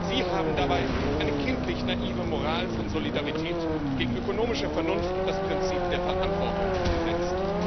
Sie haben dabei eine kindlich naive Moral von Solidarität gegen ökonomische Vernunft und das Prinzip der Verantwortung gesetzt.